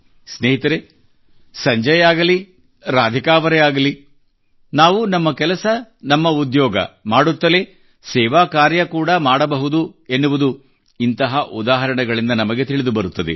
ಸ್ನೇಹಿತರೇ ಸಂಜಯ್ ಆಗಲಿ ಅಥವಾ ರಾಧಿಕಾ ಅವರೇ ಆಗಲಿ ನಾವು ನಮ್ಮ ಕೆಲಸ ನಮ್ಮ ಉದ್ಯೋಗ ಮಾಡುತ್ತಲೇ ಸೇವಾ ಕಾರ್ಯ ಕೂಡಾ ಮಾಡಬಹುದು ಎನ್ನುವುದು ಇಂತಹ ಉದಾಹರಣೆಗಳಿಂದ ನಮಗೆ ತಿಳಿದುಬರುತ್ತದೆ